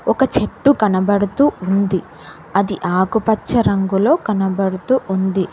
ఒక చెట్టు కనబడుతూ ఉంది అది ఆకుపచ్చ రంగులో కనబడుతూ ఉంది.